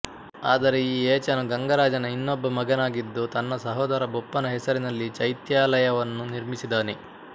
ಆದರೆ ಈ ಏಚನು ಗಂಗರಾಜನ ಇನ್ನೊಬ್ಬ ಮಗನಾಗಿದ್ದು ತನ್ನ ಸಹೋದರ ಬೊಪ್ಪನ ಹೆಸರಿನಲ್ಲಿ ಚೈತ್ಯಾಲಯವನ್ನು ನಿರ್ಮಿಸಿದನೆ